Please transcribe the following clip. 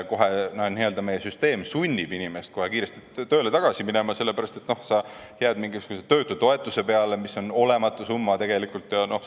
Meie süsteem kohe sunnib inimest kiiresti tööle tagasi minema, sellepärast et sa jääd mingisuguse töötutoetuse peale, mis on tegelikult olematu summa.